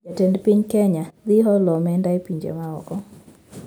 Jatend piny kenya dhi holo omenda e pinje ma oko